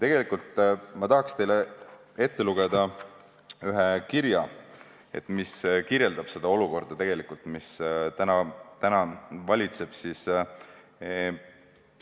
Tegelikult ma tahaks teile ette lugeda ühe kirja, mis kirjeldab täna valitsevat olukorda.